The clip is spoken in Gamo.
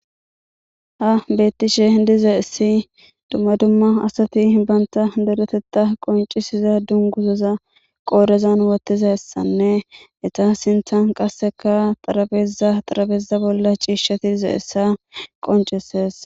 Ha beettishe diza issi dumma dumma asati banta doretetta qoncisiza dunguzoza qoorezan wottiza ssanne eta sinthan qasseka xarabeza xarabeeza bolla ciishshati diza issa qonceses.